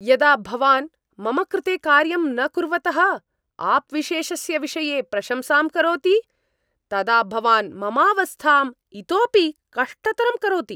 यदा भवान् मम कृते कार्यं न कुर्वतः आप् विशेषस्य विषये प्रशंसां करोति तदा भवान् ममावस्थां इतोपि कष्टतरं करोति।